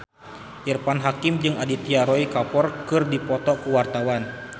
Irfan Hakim jeung Aditya Roy Kapoor keur dipoto ku wartawan